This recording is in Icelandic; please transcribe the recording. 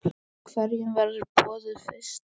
Hverjum verður boðið fyrst?